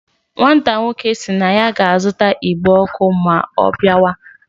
Nwata nwoke si na ya ga azuta igbe oku ma o biawa